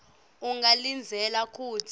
ungalindzela kutsi